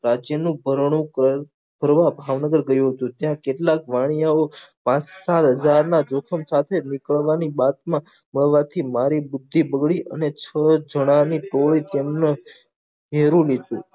રાજ્ય નું ભરણું કરવા ભાવનગર ગયો હતો ત્યાં કેટલાક વાનીયયો પાછા જાર ના જોખમ સાથે નીકળવું ની બાથ માં મળવાથી મારી બુદ્ધી દોડી અને છ જના ની ટોળી તેમની ગેરુ લીથ્યું